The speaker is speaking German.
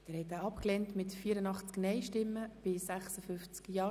Sie haben diesen Antrag abgelehnt.